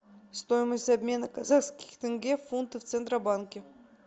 стоимость обмена казахских тенге в фунты в центробанке